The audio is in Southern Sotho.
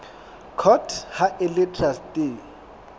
court ha e le traste